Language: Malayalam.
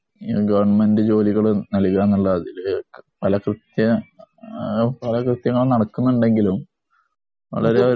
ഈ ഗവൺമെന്റ് ജോലികള് നല്കുക എന്നുള്ള ഇതില് പല കൃത്യ പല കൃത്യങ്ങൾ നടക്കുന്നുണ്ടെങ്കിലും വളരെ